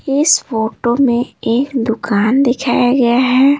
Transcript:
इस फोटो में एक दुकान दिखाया गया है।